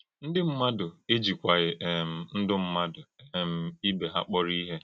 Ndí ḿmádụ́ ejíkwàghí um ndú ḿmádụ́ um ìbé hà kpọ́rọ̀ ìhè.